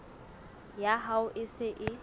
ya hao e se e